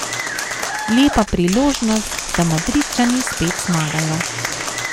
Lepa priložnost, da Madridčani spet zmagajo.